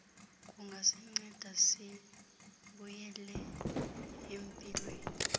kungasinceda sibuyele empilweni